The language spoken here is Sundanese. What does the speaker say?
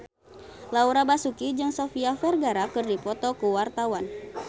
Laura Basuki jeung Sofia Vergara keur dipoto ku wartawan